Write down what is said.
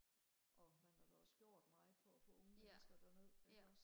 og man har da også gjort meget for at få unge mennesker derned ikke også